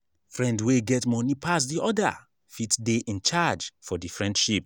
friend wey get money pass di other fit de in charge for the friendship